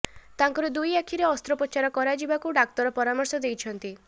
ତାଙ୍କର ଦୁଇ ଆଖିରେ ଅସ୍ତ୍ରୋପଚାର କରାଯିବାକୁ ଡାକ୍ତର ପରାମର୍ଶ ଦେଇଛନ୍ତି